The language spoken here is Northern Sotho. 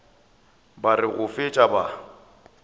ba re go fetša ba